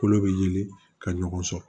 Kolo bɛ yeli ka ɲɔgɔn sɔsɔ